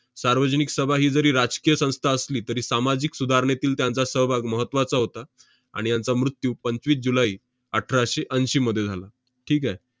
सार्वजनिक सभा ही जरी राजकीय संस्था असली, तरी सामाजिक सुधारणेतील त्यांचा सहभाग महत्त्वाचा होता. आणि यांचा मृत्यू पंचवीस जुलै अठराशे ऐंशीमध्ये झाला. ठीक आहे?